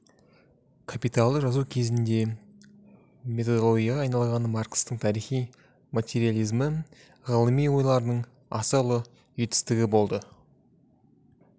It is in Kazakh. капиталды жазу кезінде методологияға айналған маркстің тарихи материализмі ғылыми ойлардың аса ұлы жетістігі болды